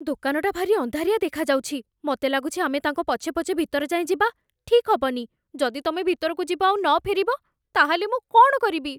ଦୋକାନଟା ଭାରି ଅନ୍ଧାରିଆ ଦେଖାଯାଉଛି । ମତେ ଲାଗୁଛି ଆମେ ତାଙ୍କ ପଛେ ପଛେ ଭିତର ଯାଏଁ ଯିବା ଠିକ୍ ହବନି । ଯଦି ତମେ ଭିତରକୁ ଯିବ ଆଉ ନଫେରିବ ତା'ହେଲେ, ମୁଁ କ'ଣ କରିବି?